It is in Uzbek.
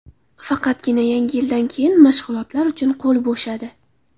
Faqatgina yangi yildan keyin mashg‘ulotlar uchun qo‘l bo‘shadi.